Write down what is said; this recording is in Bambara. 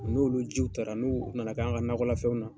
N'olu jiw, tara n'u nana k'an ka nakɔlafɛnw na